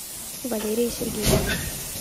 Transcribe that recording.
валерии сергеевне